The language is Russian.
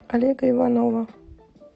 олега иванова